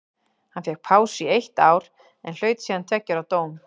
Hann fékk pásu í eitt ár en hlaut síðan tveggja ára dóm.